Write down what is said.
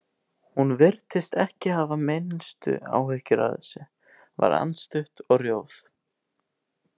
Hún virtist ekki hafa minnstu áhyggjur af þessu, var andstutt og rjóð.